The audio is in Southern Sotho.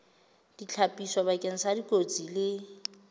ditlhapiso bakeng sa dikotsi le